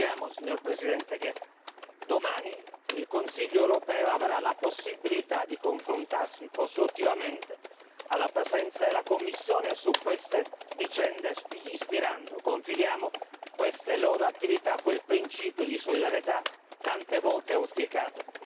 Ricordiamo, signor Presidente, che domani il Consiglio europeo avrà la possibilità di confrontarsi costruttivamente, alla presenza della Commissione, su queste vicende ispirando confidiamo queste loro attività a quel principio di solidarietà tante volte auspicato.